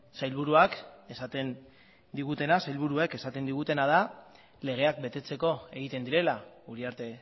sailburuek esaten digutena da legeak betetzeko egiten direla uriarte